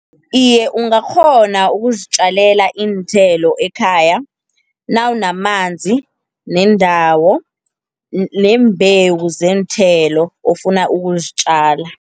Iye ungakghona ukuzitjalela iinthelo ekhaya, nawunamanzi, nendawo neembewu zeenthelo ofuna ukuzitjala.